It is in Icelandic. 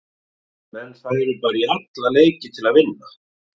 Menn færu bara í alla leiki til að vinna.